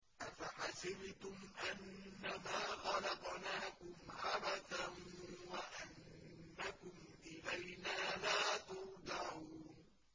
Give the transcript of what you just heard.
أَفَحَسِبْتُمْ أَنَّمَا خَلَقْنَاكُمْ عَبَثًا وَأَنَّكُمْ إِلَيْنَا لَا تُرْجَعُونَ